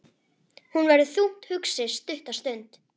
Hún verður þungt hugsi stutta stund.